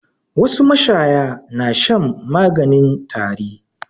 Wasu mashaya na shan maganin tari.